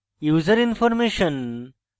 userinformation